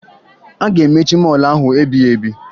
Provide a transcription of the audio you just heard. A ga-emechi mọọlụ ahụ ebighebi